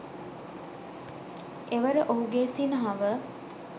එවර ඔහුගේ සිනහව